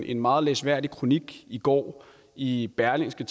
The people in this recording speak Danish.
en meget læseværdig kronik i går i berlingske